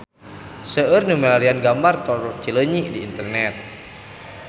Seueur nu milarian gambar Tol Cileunyi di internet